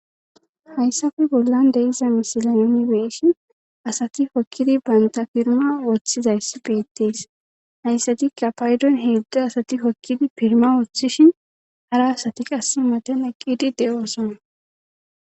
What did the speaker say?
Hayssappe bollan diza misiliya nuuni be'ishin asati hokizi bantta piynha ootizayti betees. hayssatikka paydon heedzdzu asati piynha oothishin hara asati qasse matan eqqidi de'osona.